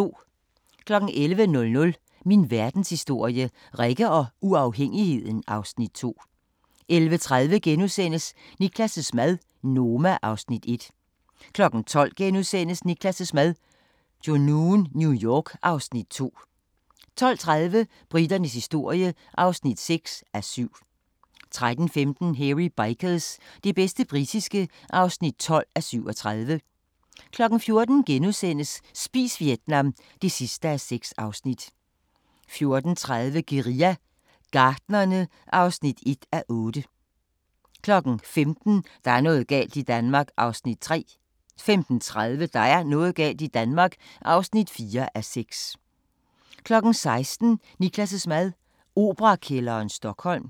11:00: Min Verdenshistorie – Rikke og uafhængigheden (Afs. 2) 11:30: Niklas' mad - Noma (Afs. 1)* 12:00: Niklas' mad – Junoon, New York (Afs. 2)* 12:30: Briternes historie (6:7) 13:15: Hairy Bikers – det bedste britiske (12:37) 14:00: Spis Vietnam (6:6)* 14:30: Guerilla Gartnerne (1:8) 15:00: Der er noget galt i Danmark (3:6) 15:30: Der er noget galt i Danmark (4:6) 16:00: Niklas' mad - Operakælderen, Stockholm